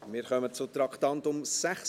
Wir kommen zum Traktandum 76.